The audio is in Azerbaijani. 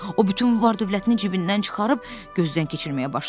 O bütün var dövlətini cibindən çıxarıb gözdən keçirməyə başladı.